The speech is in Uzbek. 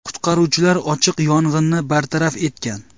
Qutqaruvchilar ochiq yong‘inni bartaraf etgan.